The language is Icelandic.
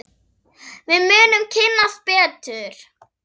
Við munum kynnast betur.